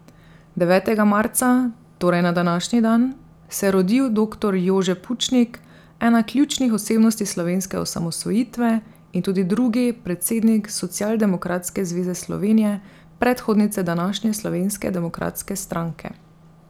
Devetega marca, torej na današnji dan, se je rodil doktor Jože Pučnik, ena ključnih osebnosti slovenske osamosvojitve in tudi drugi predsednik Socialdemokratske zveze Slovenije, predhodnice današnje Slovenske demokratske stranke.